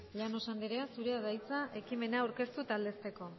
llanos anderea zurea da hitza ekimena aurkeztu eta aldezteko